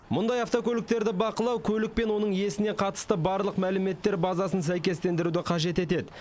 мұндай автокөліктерді бақылау көлік пен оның иесіне қатысты барлық мәліметтер базасын сәйкестендіруді қажет етеді